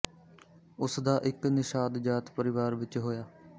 ਉਸ ਦਾ ਇੱਕ ਨਿਸ਼ਾਦ ਜਾਤ ਪਰਿਵਾਰ ਵਿੱਚ ਹੋਇਆ